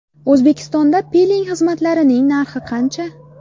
O‘zbekistonda piling xizmatlarining narxi qancha?